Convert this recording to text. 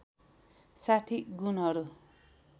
६० गुणहरू